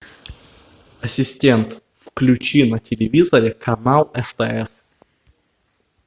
ассистент включи на телевизоре канал стс